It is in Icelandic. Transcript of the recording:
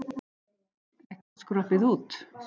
Ekkert skroppið út?